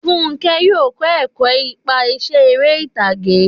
Fúnkẹ́ yóò kọ́ ẹ̀kọ́ iṣẹ́ eré ìtàgé.